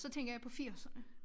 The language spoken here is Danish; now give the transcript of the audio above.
Så tænker jeg på firserne